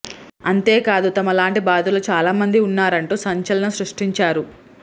అంతేకాదు తమ లాంటి బాధితులు చాలా మంది ఉన్నారంటూ సంచలనం సృష్టించారు